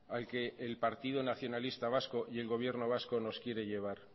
al que el partido nacionalista vasco y el gobierno vasco nos quiere llevar